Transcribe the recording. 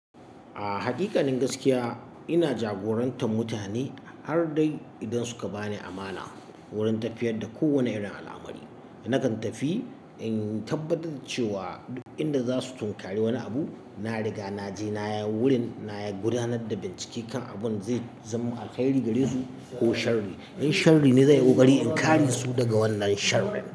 A hakaƙanin gaskiya ina jagorantar mutane har dai idan suka ba ni amana wurin tafiyar da kowane irin al'amari. Nakan tafi in tabbatar da cewa inda za su tunkari wani abu, na riga na je na yi wurin, na gudanar da bincike kan abin zai zo alheri gare su ko sharri. In sharri ne zan yi ƙoƙari in kare su daga wannan shar rin.